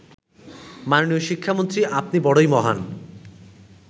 মাননীয় শিক্ষামন্ত্রী আপনি বড়ই মহান